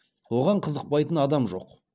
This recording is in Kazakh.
оған қызықпайтын адам жоқ